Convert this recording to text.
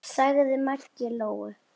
sagði Maggi Lóu.